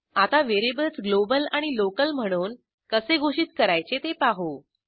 आता variables global आणि local म्हणून कसे घोषित करायचे ते पाहू